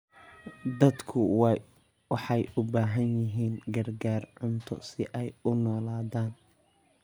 Dadku waxay u baahan yihiin gargaar cunto si ay u noolaadaan.